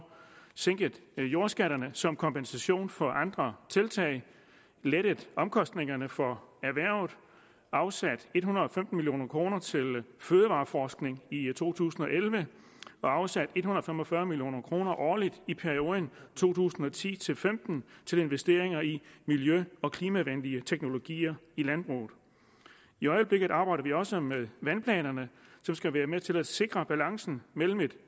sænket jordskatterne som kompensation for andre tiltag lettet omkostningerne for erhvervet afsat en hundrede og femten million kroner til fødevareforskning i to tusind og elleve og afsat en hundrede og fem og fyrre million kroner årligt i perioden to tusind og ti til femten til investeringer i miljø og klimavenlige teknologier i landbruget i øjeblikket arbejder vi også med vandplanerne som skal være med til at sikre balancen mellem et